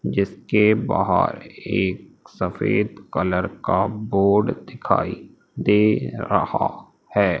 जिसके बाहर एक सफेद कलर का बोर्ड दिखाई दे रहा है।